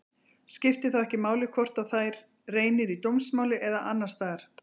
Skiptir þá ekki máli hvort á þær reynir í dómsmáli eða annars staðar.